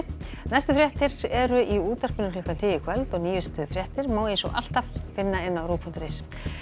næstu fréttir eru í útvarpinu klukkan tíu í kvöld og nýjustu fréttir má alltaf finna á rúv punktur is en